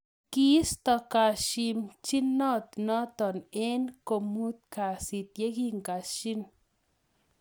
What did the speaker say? Kiistoi kasimchinot notok eng komuut kasiit yekikashiin